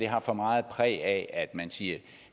har for meget præg af at man siger